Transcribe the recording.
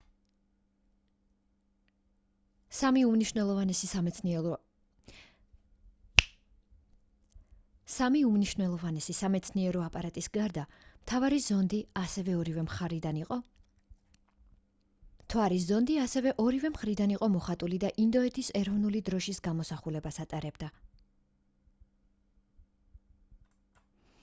სამი უმნიშვნელოვანესი სამეცნიერო აპარატის გარდა მთვარის ზონდი ასევე ორივე მხრიდან იყო მოხატული და ინდოეთის ეროვნული დროშის გამოსახულებას ატარებდა